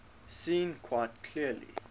seen quite clearly